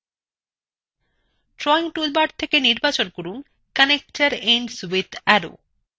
drawing toolbar থেকে নির্বাচন from connector ends with arrow